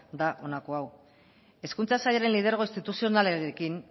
da honako hau hezkuntza sailaren lidergo instituzionalarekin